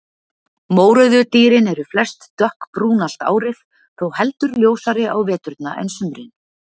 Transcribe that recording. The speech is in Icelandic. Mórauðu dýrin eru flest dökkbrún allt árið, þó heldur ljósari á veturna en sumrin.